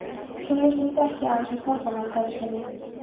Kynlíf snýst ekki aðeins um hormónastarfsemi.